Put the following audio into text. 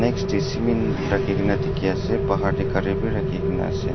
next to cement rakhi kena dikhi ase bahar teh gari bhi rakhi kena ase.